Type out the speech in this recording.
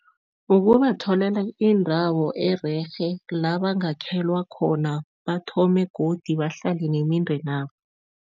Ukubatholela indawo ererhe la bangakhelwa khona, bathome godi bahlale nemindenabo.